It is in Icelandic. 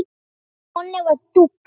Nonni var dúx.